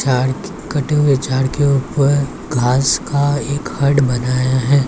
Jar कटे हुए jar के ऊपर घास का एक हड़ बनाया है ।